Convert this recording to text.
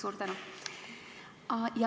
Suur tänu!